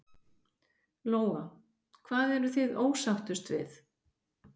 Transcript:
Lóa: Hvað eruð þið ósáttust við?